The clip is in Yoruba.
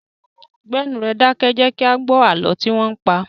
Gbé ẹnu rẹ dákẹ́! Jẹ kí a gbó àlọ́ tí wọn ń pa!